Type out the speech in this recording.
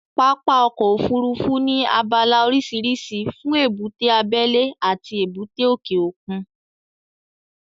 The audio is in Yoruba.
Pápá ọkọ̀ Òfurufú ní abala oríṣiríṣi fún èbúté abẹ́lẹ́ àti èbúté òkè òkun